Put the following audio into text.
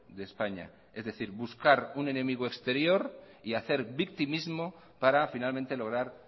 de españa es decir buscar un enemigo exterior y hacer victimismo para finalmente lograr